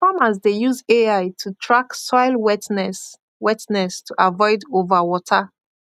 farmers dey use ai to track soil wetness wetness to avoid overwater